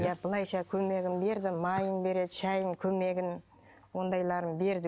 иә былайша көмегін берді майын береді шәйін көмегін ондайларын берді